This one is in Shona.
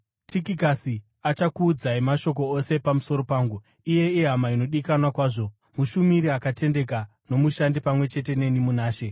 Tikikasi achakuudzai mashoko ose pamusoro pangu. Iye ihama inodikanwa kwazvo, mushumiri akatendeka nomushandi pamwe chete neni muna She.